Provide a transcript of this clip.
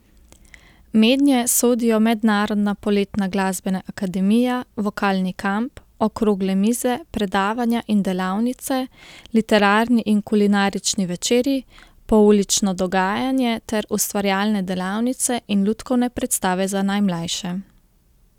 Mednje sodijo mednarodna poletna glasbena akademija, vokalni kamp, okrogle mize, predavanja in delavnice, literarni in kulinarični večeri, poulično dogajanje ter ustvarjalne delavnice in lutkovne predstave za najmlajše.